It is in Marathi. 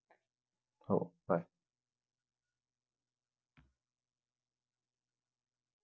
हो bye.